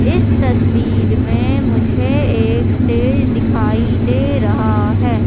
इस तस्वीर में मुझे एक स्टेज दिखाई दे रहा हैं।